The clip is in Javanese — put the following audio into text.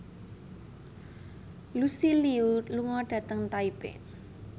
Lucy Liu lunga dhateng Taipei